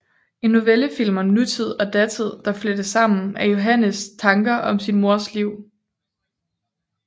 En novellefilm om nutid og datid der flettes sammen af Johannes tanker om sin mors liv